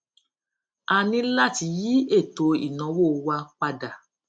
a ní láti yí ètò ìnáwó wa padà